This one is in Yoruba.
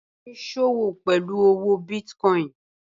Banke ń sọ́wọ́ pẹ̀lú owó bìiticoin